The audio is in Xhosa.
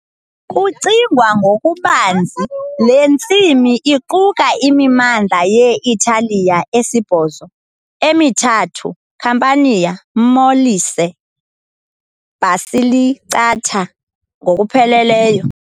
Kucingwa ngokubanzi, le ntsimi iquka imimandla ye-Italiya esibhozo, emithathu, Campania, Molise, Basilicata, ngokupheleleyo.